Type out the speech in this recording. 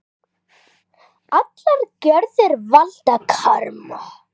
Allar gjörðir valda karma.